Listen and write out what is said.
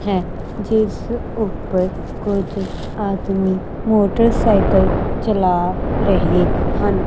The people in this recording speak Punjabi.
ਹੈ ਜਿਸ ਉੱਪਰ ਕੁਝ ਆਦਮੀ ਮੋਟਰਸਾਈਕਲ ਚਲਾ ਰਹੇ ਹਨ।